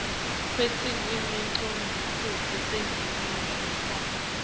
kwetilwimi tendzabuko taseningizimu